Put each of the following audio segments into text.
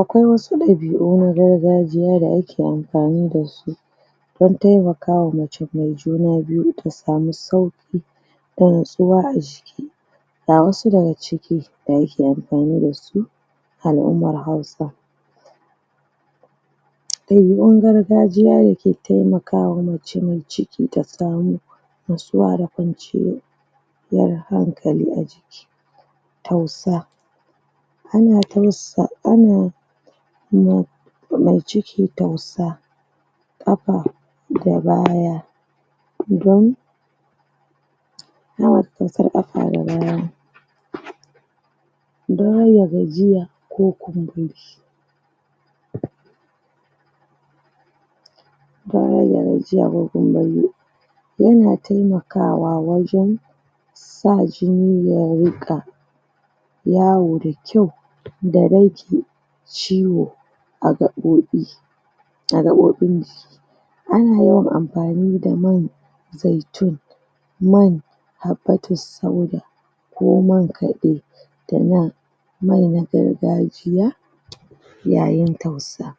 Akwai wasu ɗabi u na gargajiya da ake ke amfani dasu dan temakawa mace mai juna biyu da natsuwa aji ga wasu daga ciki da ake amfani dasu al'ummar hausa ɗabi un gargajiya dake temakawa mace me ciki tasamu natsuwa da kwanciyo ciyar hankali tousa ana tausa, ana na ama ciki tausa ƙafa da baya don? idan har da gajiya ko kumburi tayar da gajiya ko kuma yana temakawa wajan sa jini ya ruƙa yawo da kyau da rage ciwo agaɓoɓi agaɓoɓi jiki ana yawan amfani da mai zaitun man habbatus sauda ko man kaɗe da mai mai na gargajiya yayin tausa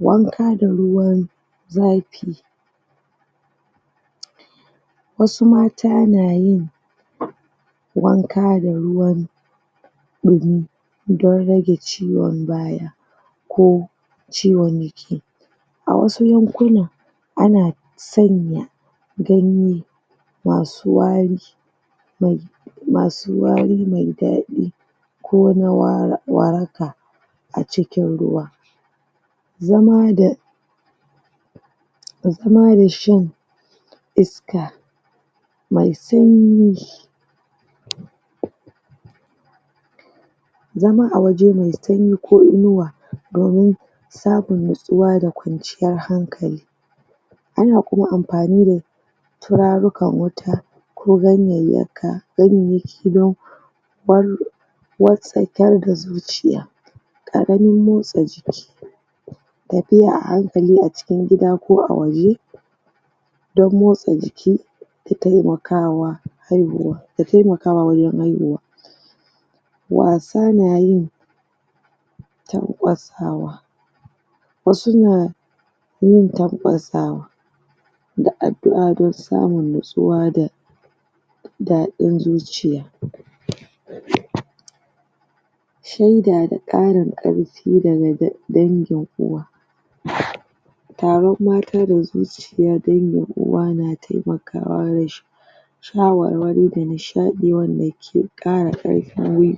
wanka da ruwan zafi wasu mata nayin wanka da ruwan gumi dan rage ciwon baya ko ciwon yake a wasu lukuna ana sanya ganye masu wari ga masu wari mai daɗi ko waraka acikin ruwa zamada zamada shin mai sanyi zama awaje mai sanyi ko inuwa domin samun natsuwa da kwaciyar hankali ana kuma amfani da tura rukan wuta ko ganyayyaka ganyayyaki don bar watsakar da zuciya aganin motsa jiki tafiya ahankali acikin gida ko a waje don motsa jiki da temakawa haihuwa da temakawa wajan haihuwa wasa nayin ta ƙwasaw wasu na yin takwasawa da addu a dan samu natsuwa da daɗin zuciya sheda da ƙarin ƙar fi daga dangin uwa? taron mata da zuci kuma dangin uwa na temakawa shawarwari danishaɗi wanda ke ƙara ƙarfin wi